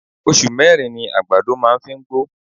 oṣù mẹ́rin ni àgbàdo máa ń fi ń gbó.